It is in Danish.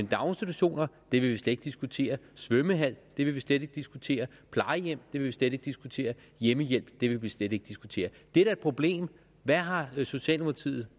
daginstitutioner vil vi slet ikke diskutere svømmehal vil vi slet ikke diskutere plejehjem vil vi slet ikke diskutere hjemmehjælp vil vi slet ikke diskutere det er da et problem hvad har socialdemokratiet